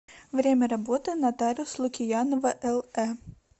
время работы нотариус лукиянова лэ